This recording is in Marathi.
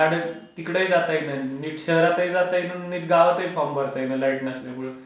मग गाडीने तिकडे जाता येईना नीट शहरातही जाता येत नाही अन नीट गावातही फॉर्म भरता येईना लाईट नसल्यामुळे.